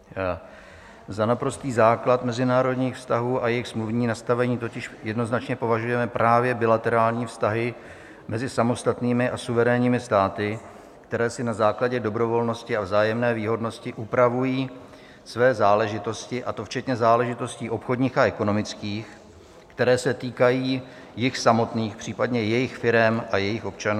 Za naprostý základ mezinárodních vztahů a jejich smluvní nastavení totiž jednoznačně považujeme právě bilaterární vztahy mezi samostatnými a suverénními státy, které si na základě dobrovolnosti a vzájemné výhodnosti upravují své záležitosti, a to včetně záležitostí obchodních a ekonomických, které se týkají jich samotných, případně jejich firem a jejich občanů.